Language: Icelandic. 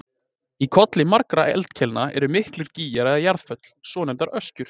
Í kolli margra eldkeilna eru miklir gígar eða jarðföll, svonefndar öskjur.